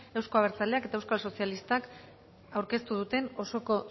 euzko abertzaleak eta euskal sozialistak aurkeztu duten osoko